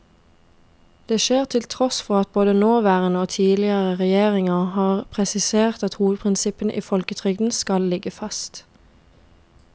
Det skjer til tross for at både nåværende og tidligere regjeringer har presisert at hovedprinsippene i folketrygden skal ligge fast.